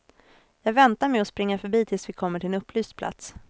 Jag väntar med att springa förbi tills vi kommer till en upplyst plats.